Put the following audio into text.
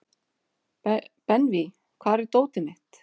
Benvý, hvar er dótið mitt?